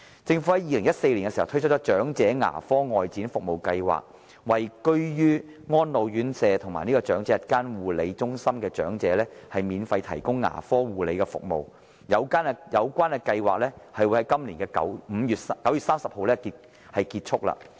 政府在2014年推出了長者牙科外展服務計劃，為居於安老院舍和長者日間護理中心的長者免費提供牙科護理服務，有關計劃會在今年9月30日結束。